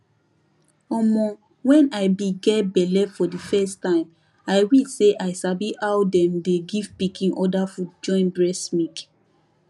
omoh when i be get belle for the first time i wish say i sabi how them dey give pikin other food join breast milk